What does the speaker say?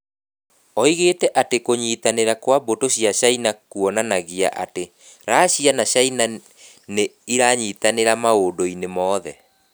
Oigire atĩ kũnyitanĩra kwa mbũtũ cia Caina kuonanagia atĩ Racia na Caina nĩ iranyitanĩra maũndũ-inĩ mothe.